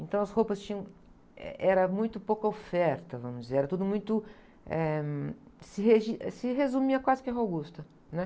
Então, as roupas tinham, eh, era muito pouca oferta, vamos dizer, era tudo muito, eh, hum, se regi, se resumia quase que à Augusta, né?